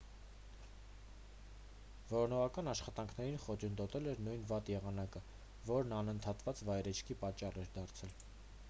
որոնողական աշխատանքներին խոչընդոտել էր նույն վատ եղանակը որն ընդհատված վայրէջքի պատճառ էր դարձել